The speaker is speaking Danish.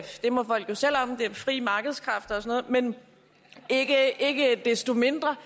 det må folk jo selv om det er frie markedskræfter og noget men ikke desto mindre